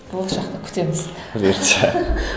болашақта күтеміз бұйыртса